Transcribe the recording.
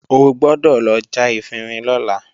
O gbọ́dọ̀ lọ já efinrin lọ́la!